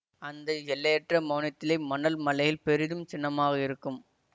அந்த எல்லையற்ற மௌனத்திலே மணல் மலைல் பெரிதும் சின்னமாக இருக்கும்